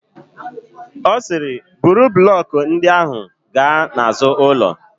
Ọ sịrị, buru blọkụ ndị ahụ gaa n'azụ ụlọ.